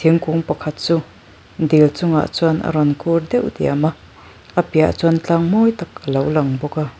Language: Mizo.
thingkung pakhat chu dil chungah chuan a rawn kûl deuh diam a a piah ah chuan tlang mawi tak alo lang bawk a.